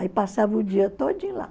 Aí passava o dia todinho lá.